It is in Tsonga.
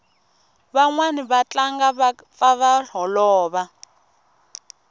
vanwani va tlangi va pfa va holova